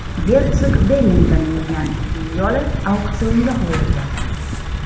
Gersog Vellington mingan otning yoli auksionga qo‘yildi.